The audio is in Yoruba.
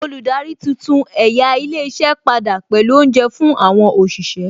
Olùdarí tuntun ẹ̀yà ilé iṣẹ́ padà pẹ̀lú Oúnjẹ fún àwọn òṣìṣẹ́